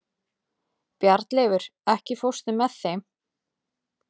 Bjarnleifur, ekki fórstu með þeim?